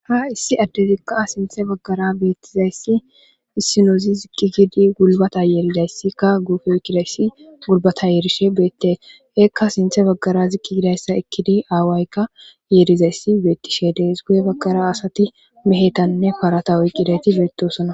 ha issi addezikka sinthe baggara beettizayssi issinozi zikki gidi gulbata yeeridayssikka guufe kidayssi gulbata yeerishe beette eekka sinthe baggara zikki gidayssa ekkidi aawaykka yeerizayssi beettishe dees guye baggara asati mehetanne parata oyqqidayti beettosona